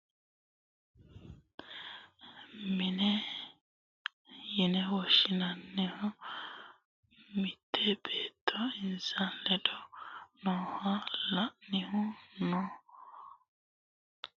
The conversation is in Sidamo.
quchumu giddo noote mitte basera mannu e"anni noohu kuni eniroki keekete mine yine woshshinanniho mitte beetto insa ledo nooha la'anni no